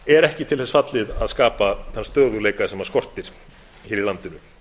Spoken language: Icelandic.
er ekki til þess fallið að skapa þann stöðugleika sem skortir hér í landinu